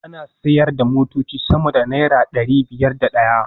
Ana sayar da motoci sama da naira dari biyar da daya